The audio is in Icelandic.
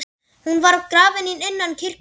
Hún var grafin innan kirkju.